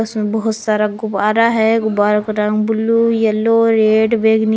इसमें बहोत सारा गुब्बारा है गुबारो का रंग ब्लू येलो रेड बैंगनी--